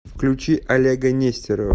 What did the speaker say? включи олега нестерова